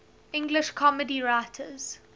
english comedy writers